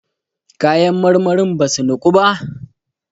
kayan marmarin ba su Niku ba?